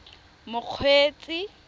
mokgweetsi